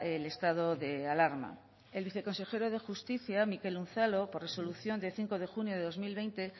el estado de alarma el viceconsejero de justicia mikel unzalu por resolución de cinco de junio de dos mil veinte